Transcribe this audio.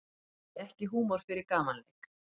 Hafði ekki húmor fyrir gamanleik